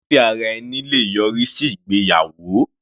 Fífẹ́ ara ẹni le yọrí sí ìgbéyàwó.